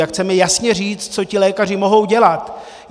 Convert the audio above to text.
Jak chceme jasně říct, co ti lékaři mohou dělat.